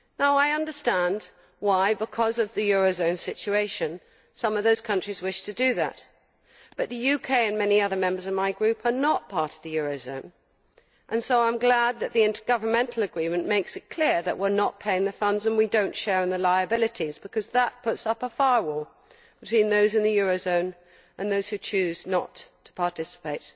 I understand why because of the eurozone situation some of those countries wish to do that, but the UK and many other members of my group are not part of the eurozone, so I am glad that the intergovernmental agreement makes it clear that we are not paying the funds and we do not share in the liabilities, because that puts up a firewall between those in the eurozone and those who choose not to participate.